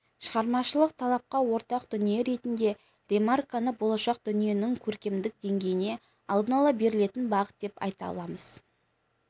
шығармашылық талапқа ортақ дүние ретінде ремарканы болашақ дүниенің көркемдік деңгейіне алдын ала берілетін бағыт деп те айта аламыз